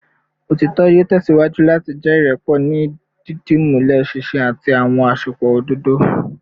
Otitọ yoo tẹsiwaju lati jẹ irẹpọ ni didimulẹ sihin ati awọn asopọ ododo